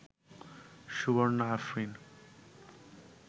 Suborna Afrin